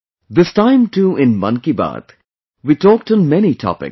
this time too in 'Mann Ki Baat' we talked on many topics